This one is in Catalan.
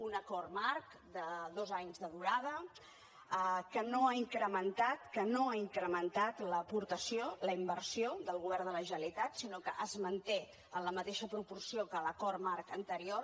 un acord marc de dos anys de durada que no ha incrementat que no ha incrementat l’aportació la inversió del govern de la generalitat sinó que es manté en la mateixa proporció que a l’acord marc anterior